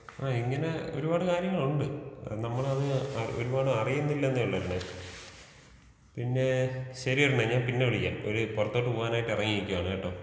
ഇങ്ങനെ ഒരുപാട് കാര്യങ്ങളുണ്ട് നമ്മൾ അത് അറി ഒരുപാട് അറിയുന്നില്ല എന്നേയൊള്ളു അരുണെ. പിന്നെ ശരി അരുണേ ഞാൻ പിന്നെ വിളിക്കാം ഒരു പുറത്തോട്ട് പോവാനായിട്ട് എറങ്ങി നിക്കാണ് കേട്ടോ.